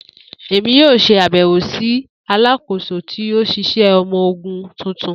Emi yoo ṣe abẹwo si Alakoso ti oṣiṣẹ ọmọ ogun tuntun.